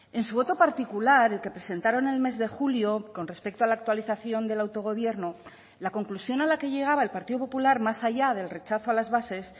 en su voto particular el que presentaron el mes de julio con respecto a la actualización del autogobierno la conclusión a la que llegaba el partido popular más allá del rechazo a las bases